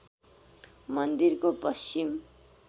मन्दिरको पश्चिम